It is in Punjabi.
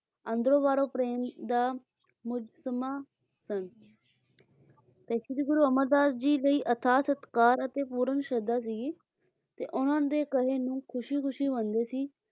ਅੰਦਰੋਂ ਬਾਹਰੋਂ ਪ੍ਰੇਮ ਦਾ ਮੁਸਤਮਾ ਸਨ ਤੇ ਸ਼੍ਰੀ ਗੁਰੂ ਅਮਰਦਾਸ ਜੀ ਲਈ ਅਥਾਥ ਸਤਿਕਾਰ ਤੇ ਪੂਰਨ ਸ਼ਰਧਾ ਸੀ ਗੀ ਤੇ ਉਹਨਾਂ ਦੇ ਕਹੇ ਨੂੰ ਖੁਸ਼ੀ ਖੁਸ਼ੀ ਮੰਨਦੇ ਸੀ,